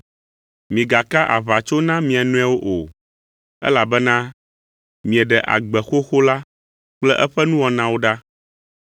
Migaka aʋatso na mia nɔewo o; elabena mieɖe agbe xoxo la kple eƒe nuwɔnawo ɖa.